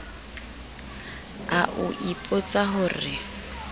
a o ipotsa ho re